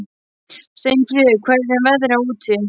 Steinfríður, hvernig er veðrið úti?